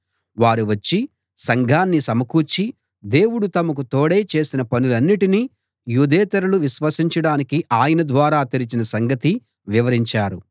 వారు వచ్చి సంఘాన్ని సమకూర్చి దేవుడు తమకు తోడై చేసిన పనులన్నిటినీ యూదేతరులు విశ్వసించడానికి ఆయన ద్వారం తెరచిన సంగతీ వివరించారు